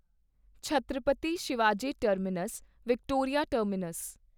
Chhatrapati Shivaji Terminus Victoria terminus